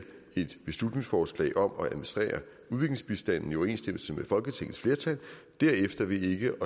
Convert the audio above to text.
et beslutningsforslag om at administrere udviklingsbistanden i overensstemmelse med folketingets flertal og derefter ved ikke